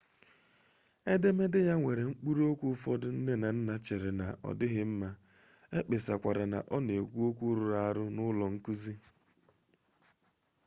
edemede ya nwere mkpụrụ okwu ụfọdụ nne na nna cheere na odịghị mma ekpesakwara na ọ na-ekwu okwu rụrụ arụ n'ụlọ nkụzi